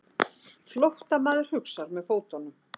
Flóttamaður hugsar með fótunum.